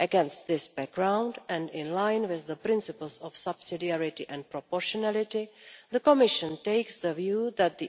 Against this background and in line with the principles of subsidiarity and proportionality, the Commission takes the view that the